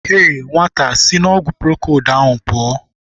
Heii nwata a, sị n'ọgwụ prokold ahụ pụọ!